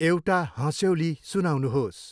एउटा हँस्यौली सुनाउनुहोस्।